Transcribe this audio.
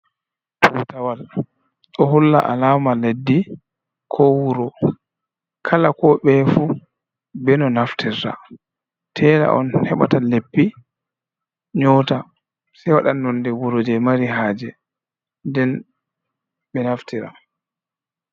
Tutawal ɗo holla alama leddi ko wuro, kala ko ɓeye fu be no naftirta, tela on heɓata leppi nyota sei waɗa nonde wuro je mari haje nden ɓe naftira.